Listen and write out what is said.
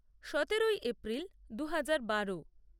সতেরোই এপ্রিল দু হাজার বারো